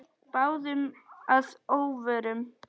Báðum að óvörum.